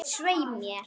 Svei mér.